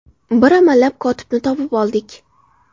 Bir amallab kotibni topib oldik.